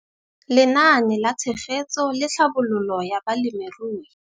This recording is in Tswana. Lenaane la Tshegetso le Tlhabololo ya Balemirui.